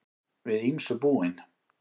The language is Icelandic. Við ýmsu búin